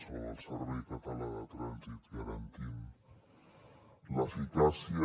o del servei català de trànsit garantint l’eficàcia